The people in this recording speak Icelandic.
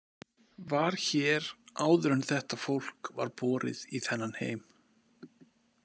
Var hér áður en þetta fólk var borið í þennan heim.